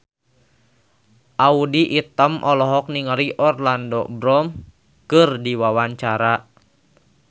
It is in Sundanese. Audy Item olohok ningali Orlando Bloom keur diwawancara